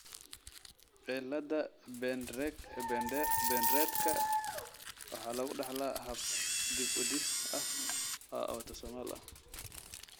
cilada Pendredka waxaa lagu dhaxlaa hab dib-u-dhis ah oo autosomal ah.